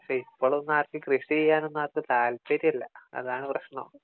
പക്ഷേ ഇപ്പോളൊന്നും ആർക്കും കൃഷി ചെയ്യാനൊന്നും ആർക്കും താല്പര്യമില്ല അതാണ് പ്രശ്നം